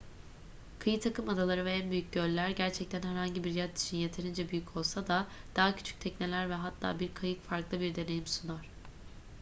kıyı takımadaları ve en büyük göller gerçekten herhangi bir yat için yeterince büyük olsa da daha küçük tekneler ve hatta bir kayık farklı bir deneyim sunar